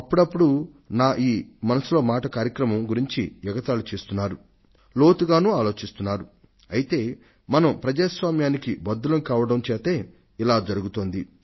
అప్పుడప్పుడు నా ఈ మనసులో మాట కార్యక్రమం గురించి ఎగతాళి చేస్తున్నారు లోతుగానూ ఆలోచిస్తున్నారు అయితే మనం ప్రజాస్వామ్యానికి బద్ధులం కావడం చేతే ఇలా జరుగుతోంది